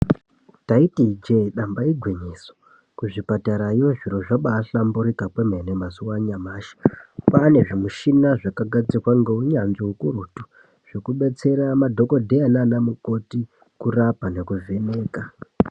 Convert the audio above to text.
Taiti ijee damba igwinyiso, kuzvipatarayo zviro zvabahlamburika kwemene mazuwa anyamashi. Kwane zvimuchina zvakagadzirwa ngeunyanzvi hukurutu, zvekubetsera madhokodheya nanamukoti kurapa nekuvheneka.